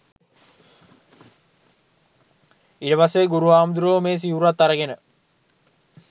ඊට පස්සේ ගුරු හාමුදුරුවෝ මේ සිවුරත් අරගෙන